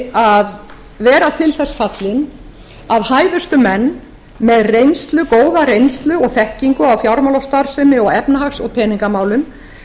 að vera til þess fallin að hæfustu menn með góða reynslu og þekkingu á fjármálastarfsemi og efnahags og peningamálum